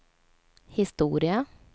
historia